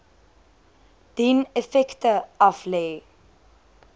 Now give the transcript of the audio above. dien effekte aflê